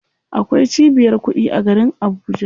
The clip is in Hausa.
Akwai cibiyar kuɗi a garin Abuja.